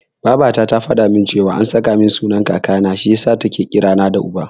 Babata ta faɗa min cewa an saka min sunan Kakana, shi yasa take kira na da Uba.